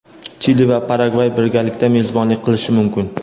Chili va Paragvay birgalikda mezbonlik qilishi mumkin.